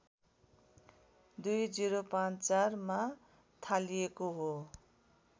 २०५४ मा थालिएको हो